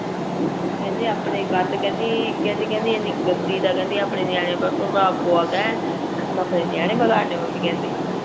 ਕਿਹੰਦੀ ਆਪਣੇ ਗੰਦ ਕਿਹੰਦੀ ਕਿਹੰਦੀ ਕਹਿੰਦੀ ਇੰਨੀ ਗੰਦੀ ਦਾ ਕਿਹੰਦੀ ਆਪਣੇ ਨਿਅਨੇਆ ਤੇ ਪਰਭਾਵ ਪਾ ਕੇ ਮੈਂ ਆਪਣੇ ਨਿਆਣੇ ਵਿਗਾੜਨੇ ਮੱਮੀ ਕਹਿੰਦੀ